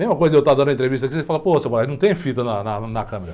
Mesma coisa de eu estar dando entrevista aqui, você fala, pô, mas não tem fita na, na, na câmara.